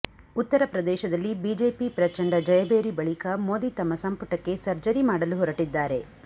ಉತ್ತರಪ್ರದೇಶದಲ್ಲಿ ಬಿಜೆಪಿ ಪ್ರಚಂಡ ಜಯಭೇರಿ ಬಳಿಕ ಮೋದಿ ತಮ್ಮ ಸಂಪುಟಕ್ಕೆ ಸರ್ಜರಿ ಮಾಡಲು ಹೊರಟಿದ್ದಾರೆ